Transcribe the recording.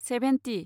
seventy